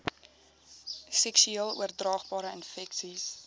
seksueel oordraagbare infeksies